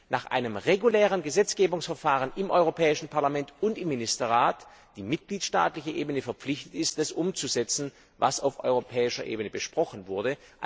nach einem regulären Gesetzgebungsverfahren im Europäischen Parlament und im Ministerrat die mitgliedstaatliche Ebene verpflichtet ist, das umzusetzen, was auf europäischer Ebene besprochen wurde.